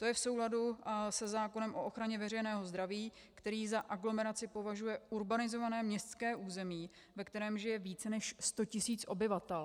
To je v souladu se zákonem o ochraně veřejného zdraví, který za aglomeraci považuje urbanizované městské území, ve kterém žije více než 100 tisíc obyvatel.